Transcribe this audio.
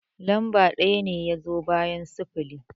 Lamba ɗaya ne ya zo bayan sifili